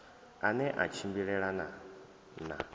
a ne a tshimbilelana na